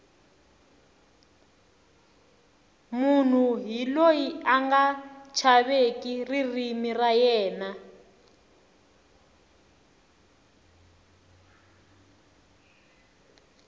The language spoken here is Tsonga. munhu hi loyi anga chaveki ririmi ra yena